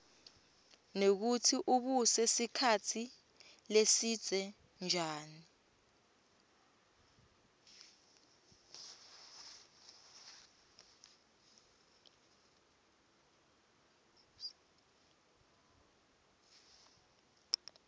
nekutsi ubuse sikhatsi lesibze njani